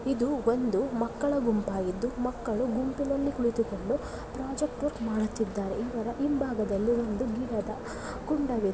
ಇದು ಒಂದು ಮಕ್ಕಳ ಗುಂಪಾಗಿದ್ದು ಮಕ್ಕಳು ಗುಂಪಿನಲ್ಲಿ ಕುಳಿತುಕೊಂಡು ಪ್ರಾಜೆಕ್ಟ್ ವರ್ಕ ಮಾಡುತ್ತಿದ್ದಾರೆ ಇವರ ಹಿಂಭಾಗದಲ್ಲಿ ಒಂದು ಗಿಡದ ಕುಂಡ ಇದೆ.